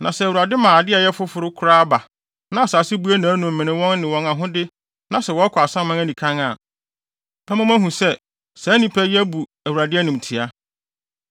Na sɛ Awurade ma ade a ɛyɛ foforo koraa ba, na asase bue nʼanom mene wɔn ne wɔn ahode na sɛ wɔkɔ asaman anikann a, ɛbɛma moahu sɛ, saa nnipa yi abu Awurade animtiaa.”